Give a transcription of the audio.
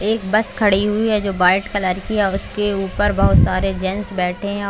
एक बस खड़ी हुई है जो वाइट कलर की है और उसके ऊपर बहुत सारे जेन्स बैठे है और--